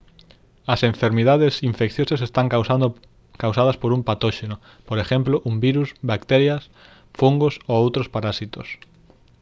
as enfermidades infecciosas están causadas por un patóxeno por exemplo un virus bacterias fungos ou outros parasitos